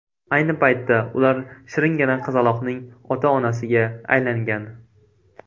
Ayni paytda ular shiringina qizaloqning ota-onasiga aylangan.